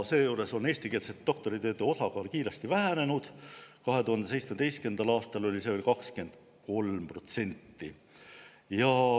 Seejuures on eestikeelsete doktoritööde osakaal kiiresti vähenenud: 2017. aastal oli see veel 23%.